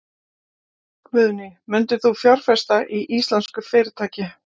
Guðný: Myndir þú fjárfesta í íslensku fyrirtæki?